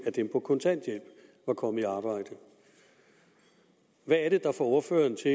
af dem på kontanthjælp var kommet i arbejde hvad er det der får ordføreren til